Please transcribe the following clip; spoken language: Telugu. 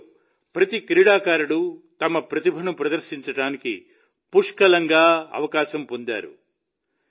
ఇందులో ప్రతి క్రీడాకారుడు తమ ప్రతిభను ప్రదర్శించడానికి పుష్కలంగా అవకాశం పొందారు